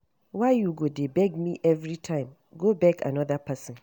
Why you go dey beg me everytime, go beg another person